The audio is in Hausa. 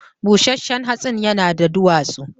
Bushenshen hatsin yana da duwatsu